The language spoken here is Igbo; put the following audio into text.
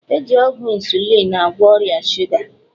E ji ọgwụ 'insulin' agwọ ọrịa shuga